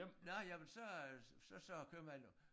Nåh jamen så øh så sagde æ købmand jo